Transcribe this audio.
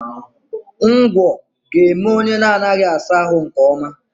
Ngwọ ga-eme onye na-anaghị asa ahụ nke ọma